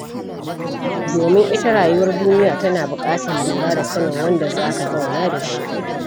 Domin ita rayuwar duniya tana buƙatar lura da sanin wanda za ka zauna da shi.